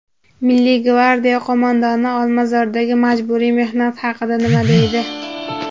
Milliy gvardiya qo‘mondoni Olmazordagi majburiy mehnat haqida nima deydi?.